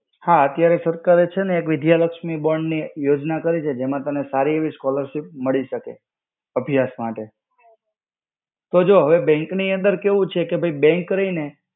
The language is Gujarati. હા અત્યારે સરકારે છે ને એક વિદ્યાલક્ષ્મી bond ની યોજના કરી છે જેમાં તમને સારી એવી scholarship મળી શકે. અભ્યાસ માટે. તો જો bank ની અંદર કેવું છે કે bank રઈ ને.